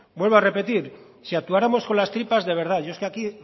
vuelvo a repetir si actuáramos con las tripas de verdad yo es que aquí